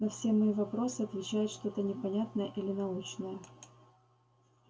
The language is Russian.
на все мои вопросы отвечает что-то непонятное или научное